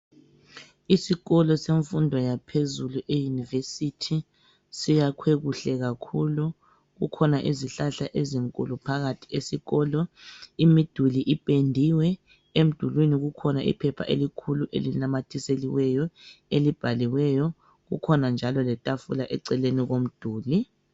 Isikolo semfundo yaphezulu i"University " siyakhwe kuhle kakhulu kukhona izihlahla ezinkulu phakathi esikolo, imiduli ipendiwe emdulwini kukhona iphepha elikhulu elinamathiseliweyo elibhaliweyo kukhona njalo letafula eceleni komduli.